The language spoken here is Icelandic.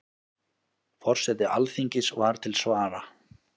Forseti Alþingis var til svara.